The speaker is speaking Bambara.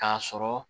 K'a sɔrɔ